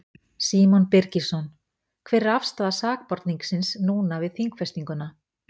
Símon Birgisson: Hver er afstaða sakborningsins núna við þingfestinguna?